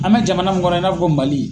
An mɛ jamana mun kɔnɔ i n'a ko Mali.